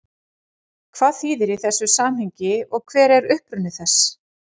Hvað þýðir það í þessu samhengi og hver er uppruni þess?